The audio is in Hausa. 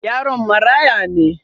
Yaron marãya ne.